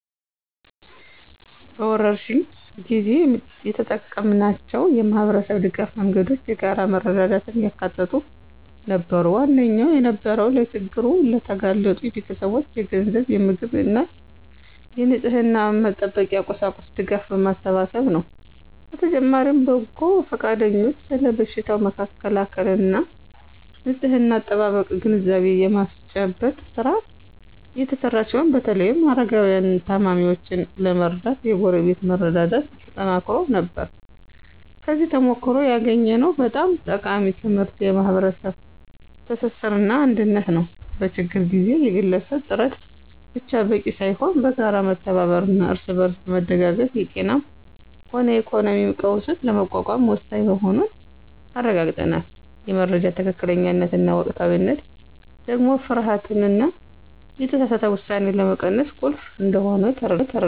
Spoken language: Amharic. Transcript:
በወረርሽኝ ጊዜ የተጠቀምናቸው የማኅበረሰብ ድጋፍ መንገዶች የጋራ መረዳዳትን ያካተቱ ነበሩ። ዋነኛው የነበረው ለችግር ለተጋለጡ ቤተሰቦች የገንዘብ፣ የምግብና የንጽሕና መጠበቂያ ቁሳቁስ ድጋፍ ማሰባሰብ ነው። በተጨማሪም በጎ ፈቃደኞች ስለ በሽታው መከላከልና ንጽሕና አጠባበቅ ግንዛቤ የማስጨበጥ ሥራ የተሰራ ሲሆን በተለይም አረጋውያንንና ታማሚዎችን ለመርዳት የጎረቤት መረዳዳት ተጠናክሮ ነበር። ከዚህ ተሞክሮ ያገኘነው በጣም ጠቃሚ ትምህርት የማኅበረሰብ ትስስርና አንድነት ነው። በችግር ጊዜ የግለሰብ ጥረት ብቻ በቂ ሳይሆን በጋራ መተባበርና እርስ በርስ መደጋገፍ የጤናም ሆነ የኢኮኖሚ ቀውስን ለመቋቋም ወሳኝ መሆኑን አረጋግጠናል። የመረጃ ትክክለኛነትና ወቅታዊነት ደግሞ ፍርሃትንና የተሳሳተ ውሳኔን ለመቀነስ ቁልፍ እንደሆነ ተረድተናል።